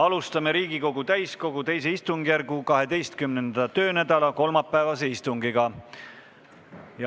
Alustame Riigikogu täiskogu II istungjärgu 12. töönädala kolmapäevast istungit.